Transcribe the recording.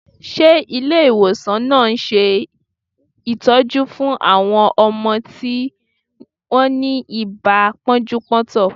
Ṣe Ilé ìwòsàn náà ń ṣe ìtọ́jú fún àwọn ọmọ tí ó ni ibà pọ́njú-pọ́ntọ̀?